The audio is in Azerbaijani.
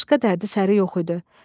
Başqa dərdi səri yox idi.